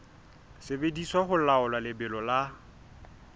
sebediswa ho laola lebelo la